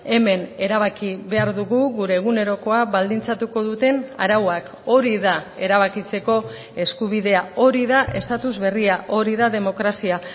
hemen erabaki behar dugu gure egunerokoa baldintzatuko duten arauak hori da erabakitzeko eskubidea hori da estatus berria hori da demokrazia